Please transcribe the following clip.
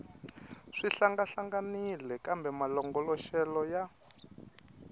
swi hlangahlanganile kambe malongoloxelo ya